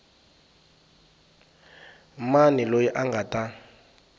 mani loyi a nga ta